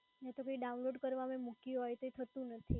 ના તો મે કોઈ download કરવા મૂક્યું હોય તો એ થતું નથી.